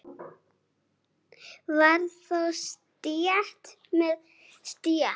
Var þá stétt með stétt?